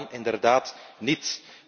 Dat kan inderdaad niet!